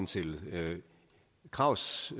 til os